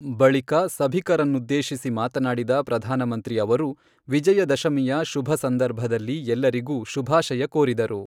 ಬಳಿಕ ಸಭಿಕರನ್ನುದ್ದೇಶಿಸಿ ಮಾತನಾಡಿದ ಪ್ರಧಾನಮಂತ್ರಿ ಅವರು, ವಿಜಯ ದಶಮಿಯ ಶುಭ ಸಂದರ್ಭದಲ್ಲಿ ಎಲ್ಲರಿಗೂ ಶುಭಾಶಯ ಕೋರಿದರು.